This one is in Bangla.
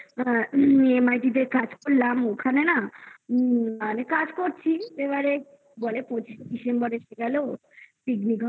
EMIT তে কাজ করলাম ওখানে না মানে কাজ করছি বলে পচিশে December এসে গেল picnic